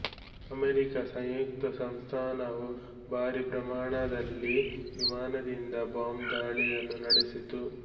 America ಸಂಯುಕ್ತ ಸಂಸ್ಥಾನವು ಭಾರಿ ಪ್ರಮಾಣದಲ್ಲಿ ವಿಮಾನದಿಂದ ಬಾಂಬ್ ದಾಳಿಗಳನ್ನು ನಡೆಸಿತು